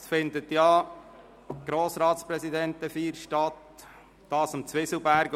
Dann findet ja die Grossratspräsidentenfeier statt, und zwar am Zwieselberg.